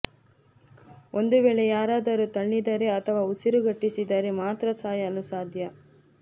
ಒಂದು ವೇಳೆ ಯಾರಾದರೂ ತಳ್ಳಿದರೆ ಅಥವಾ ಉಸಿರುಗಟ್ಟಿಸಿದರೆ ಮಾತ್ರ ಸಾಯಲು ಸಾಧ್ಯ